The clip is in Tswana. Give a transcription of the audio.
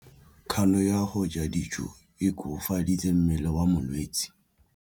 Kganô ya go ja dijo e koafaditse mmele wa molwetse.